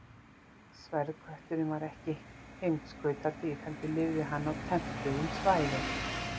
Sverðkötturinn var ekki heimskautadýr heldur lifði hann á tempruðum svæðum.